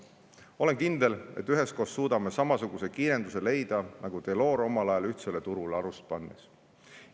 Olen kindel, et üheskoos suudame samasuguse kiirenduse leida, nagu Delors omal ajal ühtsele turule alust pannes.